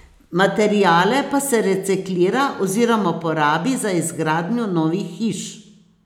Materiale pa se reciklira oziroma porabi za izgradnjo novih hiš.